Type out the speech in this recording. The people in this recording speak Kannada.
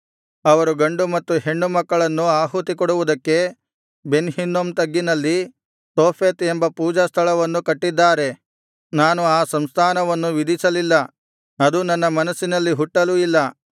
ಅವರು ಗಂಡು ಮತ್ತು ಹೆಣ್ಣು ಮಕ್ಕಳನ್ನು ಆಹುತಿಕೊಡುವುದಕ್ಕೆ ಬೆನ್ ಹಿನ್ನೋಮ್ ತಗ್ಗಿನಲ್ಲಿನ ತೋಫೆತ್ ಎಂಬ ಪೂಜಾಸ್ಥಳವನ್ನು ಕಟ್ಟಿದ್ದಾರೆ ನಾನು ಆ ಸಂಸ್ಕಾರವನ್ನು ವಿಧಿಸಲಿಲ್ಲ ಅದು ನನ್ನ ಮನಸ್ಸಿನಲ್ಲಿ ಹುಟ್ಟಲೂ ಇಲ್ಲ